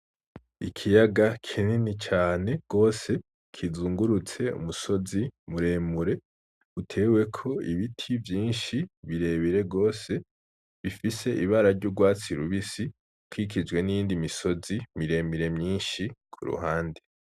Ikiyaga kinini cane gose kinzungurutse umusozi muremure uteweko ibiti vyinshi birebire gose bifise ibara ryurwatsi rubisi bikikijwe niyindi misozi miremire myinshi kuruhande